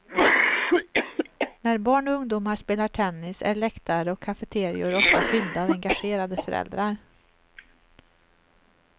När barn och ungdomar spelar tennis är läktare och cafeterior ofta fyllda av engagerade föräldrar.